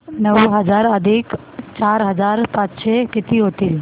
नऊ हजार अधिक चार हजार पाचशे किती होतील